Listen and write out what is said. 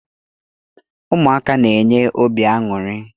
Ụmụaka na-enye obi aṅụrị.